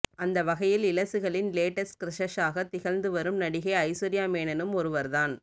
அந்த வகையில் இளசுகளின் லேட்டஸ்ட் கிரஷஷாக திகழ்ந்து வரும் நடிகை ஐஸ்வர்யா மேனனும் ஒருவர் தான்